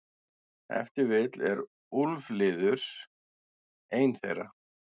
Ef til vill er úlfliður ein þeirra.